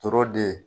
To de